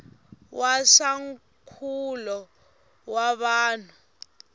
wa swa nkulo wa vanhu